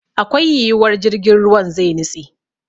Akwai yiwuwar jirgin ruwan zai nitse.